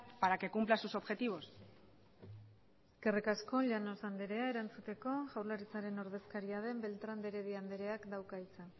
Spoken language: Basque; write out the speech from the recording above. para que cumpla sus objetivos eskerrik asko llanos andrea erantzuteko jaurlaritzaren ordezkaria den beltrán de heredia andreak dauka hitza